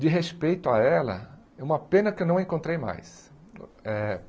De respeito a ela, é uma pena que eu não a encontrei mais. Eh